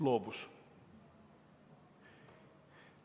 Loobus.